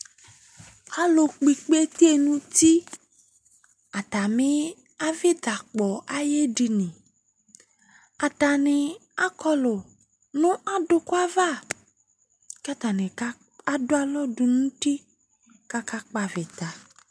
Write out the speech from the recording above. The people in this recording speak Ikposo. Alʋkpɔ ikpete nʋ uti atamɩ avɩtakpɔ ayʋ edini Atanɩ akɔlʋ nʋ adʋkʋ ava kʋ atanɩ ka adʋ alɔ dʋ nʋ uti kʋ akakpɔ avɩta